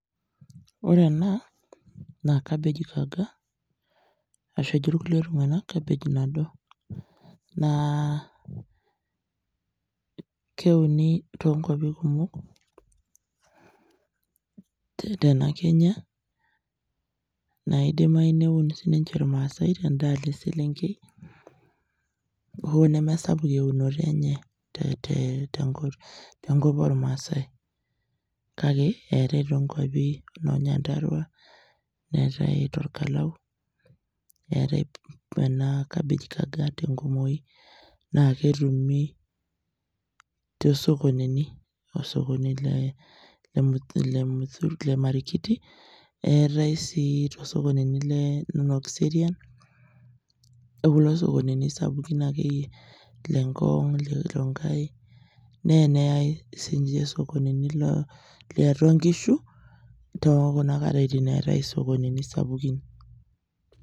Ore enaa naa kabeji kaga ashu ejo irkulie tung'anak cabbage nado naa keuni tonkuapi kumok te tena kenya naidimai neun sininche ilmaasae tenda alo eselenkei hoo nemesapuk eunoto enye te te tenkop ormaasae kake eetae tonkuapi inoo nyandarua neetae torkalau eetae ena cabbage kaga tenkumoi naa ketumi tosokonini tosokoni le muthu le marikiti eetae sii tosokonini le nono kiserian okulo sokonini sapukin akeyie le ngong ile rongai neyai sinche isokonini lo liatua inkishu tokuna katitin eetae isokonini sapukin.